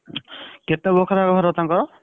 କେତେ ବଖରା ଘର ତାଙ୍କର?